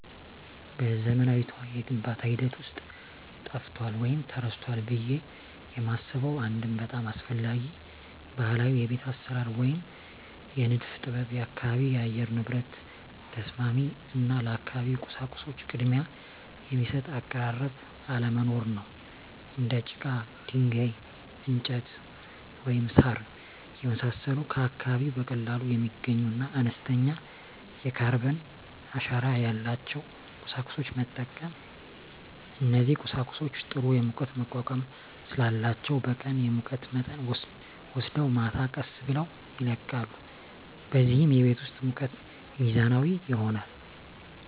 በዘመናዊው የግንባታ ሂደት ውስጥ ጠፍቷል ወይም ተረስቷል ብዬ የማስበው አንድ በጣም አስፈላጊ ባህላዊ የቤት አሰራር ወይም የንድፍ ጥበብ የአካባቢ የአየር ንብረት ተስማሚ እና ለአካባቢው ቁሳቁሶች ቅድሚያ የሚሰጥ አቀራረብ አለመኖር ነው። እንደ ጭቃ፣ ድንጋይ፣ እንጨት፣ ወይም ሣር የመሳሰሉ ከአካባቢው በቀላሉ የሚገኙና አነስተኛ የካርበን አሻራ ያላቸውን ቁሳቁሶች መጠቀም። እነዚህ ቁሳቁሶች ጥሩ የሙቀት መቋቋም ስላላቸው በቀን የሙቀት መጠንን ወስደው ማታ ቀስ ብለው ይለቃሉ፣ በዚህም የቤት ውስጥ ሙቀት ሚዛናዊ ይሆናል።